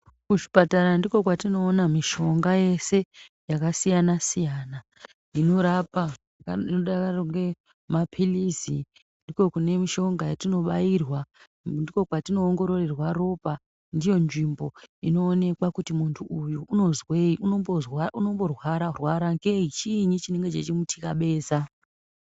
Kuzvipatara ndiko kwatinoona mishonga yese yakasiyana-siyana inorapa, inodaro ngemaphilizi. Ndiko kune mishonga yatinobairwa. Ndiko kwatinoongororerwa ropa. Ndiyo nzvimbo inoonekwa kuti muntu uyu unombozwei, unorwara-rwara, chiinyi chinenge cheimutyabeza.